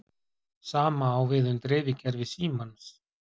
sama á við um dreifikerfi símans